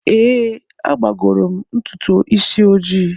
Ee, agbagoro m ntutu isi ojii.